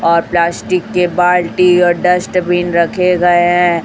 और प्लास्टिक के बाल्टी और डैस्टवीन रखे गए हैं।